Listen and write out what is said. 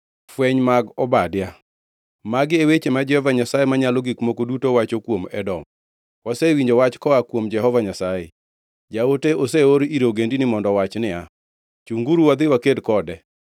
Fweny mag Obadia. Magi e weche ma Jehova Nyasaye Manyalo Gik Moko Duto wacho kuom Edom. Wasewinjo wach; koa kuom Jehova Nyasaye. Jaote oseor ir ogendini mondo owach niya, “Chunguru, wadhi waked kode.”